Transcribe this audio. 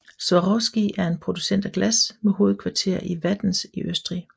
Swarovski er en producent af glas med hovedkvarter i Wattens i Østrig